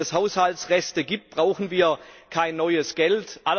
Wenn es Haushaltsreste gibt, brauchen wir kein neues Geld.